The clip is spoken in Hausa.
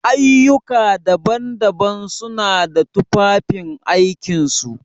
Ayyuka daban-daban suna da tufafin aikin su.